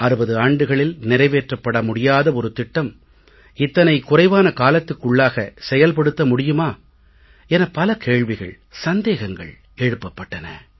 60 ஆண்டுகளில் நிறைவேற்றப்பட முடியாத ஒரு திட்டம் இத்தனை குறைவான காலத்திற்குள்ளாக செயல்படுத்த முடியுமா என பல கேள்விகள் சந்தேகங்கள் எழுப்பப்பட்டன